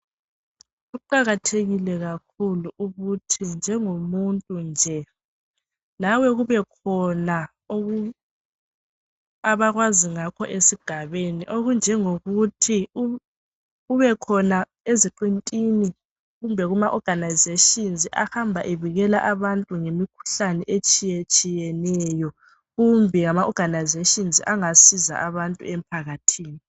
Kuqakathelile kakhulu ukuthi, njengomuntu nje lawe kubekhona abakwazi ngakho esigabeni okunjengokuthi ubekhona eziqintini, kumbe, kuma oganayizeshini ahamba ebikela abantu ngemikhuhlane etshiyetshiyeneyo kumbe ama oganayizeshini angasiza abantu emphakathini.